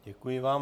Děkuji vám.